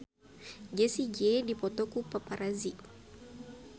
Jessie J dipoto ku paparazi